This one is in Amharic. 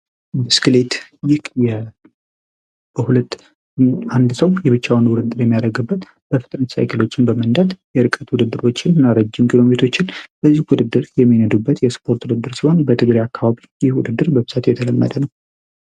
ብስክሌት አንድ ሰው በሁለት እግሮች በመንዳት በረዥም ርቀት ቡድን ውድድር የሚነዱበት የስፖርት አይነት ሲሆን ይህም የስፖርት ዓይነት በተለያዩ ቦታዎች የተለመደ ነው።